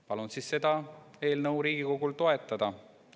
Palun Riigikogul seda eelnõu toetada.